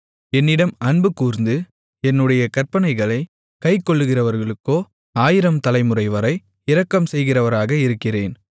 என்னிடம் அன்புகூர்ந்து என்னுடைய கற்பனைகளைக் கைக்கொள்ளுகிறவர்களுக்கோ ஆயிரம் தலைமுறைவரை இரக்கம் செய்கிறவராக இருக்கிறேன்